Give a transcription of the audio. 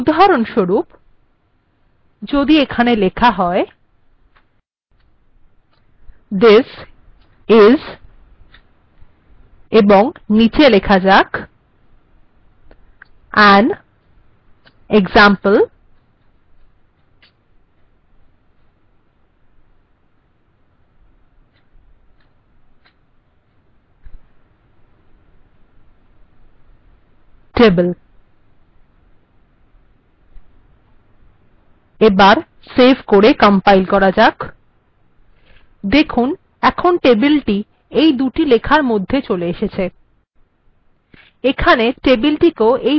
উদাহরণস্বরূপ যদি এখানে লেখা হয় this is এবং নীচে লেখা যাক an example table এবার সেভ করে কম্পাইল করা যাক এখন টেবিলটি এই দুটি লেখার মধ্যে চলে এসেছে